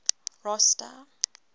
rosta